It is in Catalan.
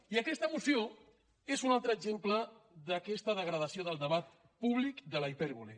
i aquesta moció és un altre exemple d’aquesta degradació del debat públic de la hipèrbole